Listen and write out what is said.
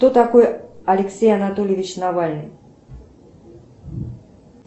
кто такой алексей анатольевич навальный